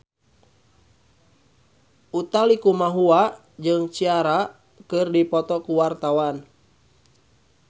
Utha Likumahua jeung Ciara keur dipoto ku wartawan